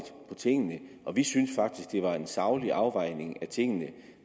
på tingene vi syntes faktisk det var en saglig afvejning af tingene